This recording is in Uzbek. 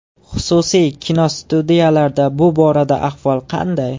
Xususiy kinostudiyalarda bu borada ahvol qanday?